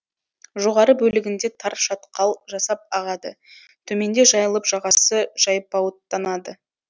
жоғары бөлігінде тар шатқал жасап ағады төменде жайылып жағасы жайпауыттанады